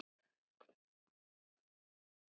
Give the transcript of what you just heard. Minning Jóns Halls lifir.